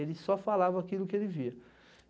Ele só falava aquilo que ele via.